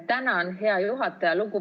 Tänan, hea juhataja!